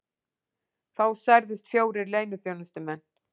Þá særðust fjórir leyniþjónustumenn